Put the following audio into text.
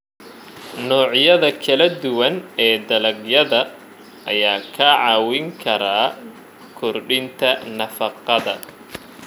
Noocyada kala duwan ee dalagyada ayaa kaa caawin kara kordhinta nafaqada.